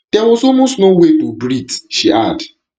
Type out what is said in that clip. dia was almost no way to breathe to breathe she add